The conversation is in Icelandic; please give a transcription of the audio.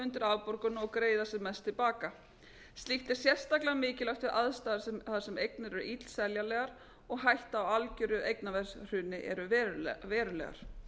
undir afborgun og greiða sem mest til baka slíkt er sérstaklega mikilvægt við aðstæður þar sem eignir eru illseljanlegar og hætta á algjöru eignaverðshruni eru verulegar